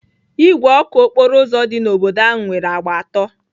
Igwe ọkụ okporo ụzọ dị n'obodo ahụ nwere agba atọ.